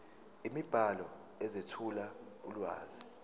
imibhalo ezethula ulwazi